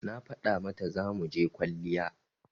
Na faɗa mata zamuje kwalliya